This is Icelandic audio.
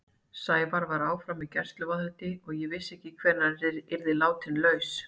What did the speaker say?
Sævar var áfram í gæsluvarðhaldi og ég vissi ekkert hvenær hann yrði látinn laus.